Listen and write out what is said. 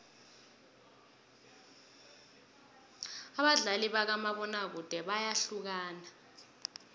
abadlali bakamabona kude bayahlukana